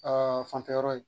Aa fanfɛ yɔrɔ ye.